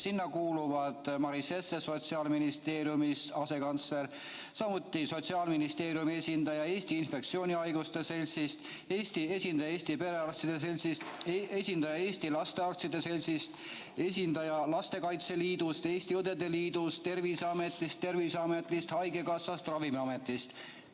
Sinna kuuluvad Sotsiaalministeeriumi asekantsler Maris Jesse, samuti Eesti Infektsioonhaiguste Seltsi esindaja, Eesti Perearstide Seltsi esindaja, Eesti Lastearstide Seltsi esindaja, Lastekaitse Liidu esindaja, Eesti Õdede Liidu esindaja, Terviseameti esindaja, Eesti Haigekassa esindaja, Ravimiameti esindaja.